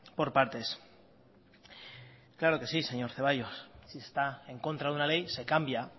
por partes claro que sí señor zaballos si está en contra de una ley se cambia